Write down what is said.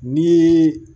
Ni